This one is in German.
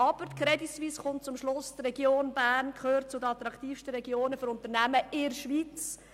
Die Crédit Suisse kommt also zum Schluss, die Region Bern gehöre zu den attraktivsten Regionen für Unternehmen in der Schweiz.